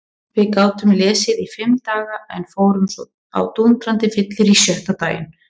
Við gátum lesið í fimm daga en fórum svo á dúndrandi fyllerí sjötta daginn.